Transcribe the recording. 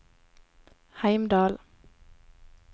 Heimdal